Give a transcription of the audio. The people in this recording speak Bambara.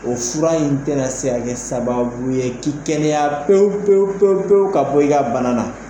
O fura in tɛna se ka kɛ sababu ye k'i kɛnɛya pewu pewu pewu ka bɔ i ka bana na.